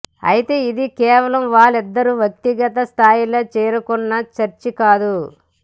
అయితే ఇది కేవలం వాళ్లిద్దరు వ్యక్తిగత స్థాయిలో చేసుకున్న చర్చ కాదు